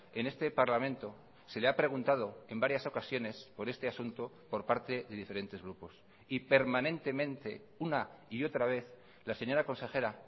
en este parlamento se le ha preguntado en varias ocasiones por este asunto por parte de diferentes grupos y permanentemente una y otra vez la señora consejera